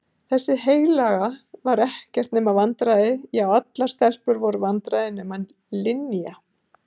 Þessi heilaga var ekkert nema vandræði já allar stelpur voru vandræði nema Linja.